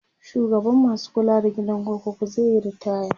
shugaban masu kula da gidan kurkuku zaiyi ritaya